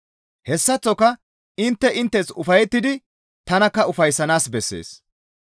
Hessaththoka intte inttes ufayettidi tanakka ufayssanaas bessees.